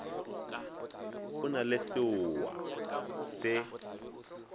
o na le seoa se